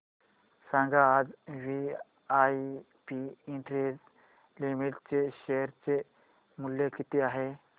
सांगा आज VIP industries limited चे शेअर चे मूल्य किती आहे